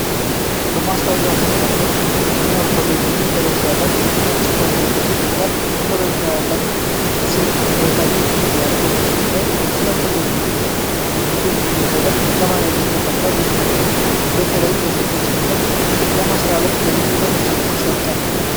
በማስታወቂያ ፖስተር ላይ 'Pioneer College' የሚል አርማ ያለበት ነጭ ኮት የለበሰች ወጣት ፈገግታ ያላት ሴት ከበታች ትታያለች። በፖስተሩ ላይ ስለ ኮሌጁ ምዝገባ የሚገልጽ የአማርኛ ጽሑፍ ተቀምጧል። ይህ ኮሌጅ በተለይ ለሴቶች ትምህርትን ለማስፋፋት ለምን ትኩረት ሰጠ?